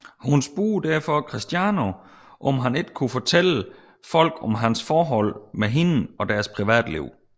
Hun spurgte derfor Cristiano om han ikke kunne fortælle folk om hans forhold med hende og deres private liv